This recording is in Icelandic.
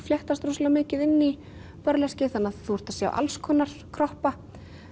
fléttast rosalega mikið inn í þannig að þú ert að sjá alls konar kroppa